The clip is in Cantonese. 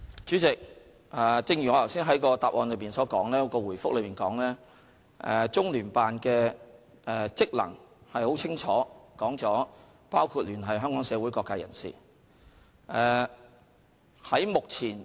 主席，正如我剛才在主體答覆所說，中聯辦的職能很清楚，包括聯繫香港社會各界人士。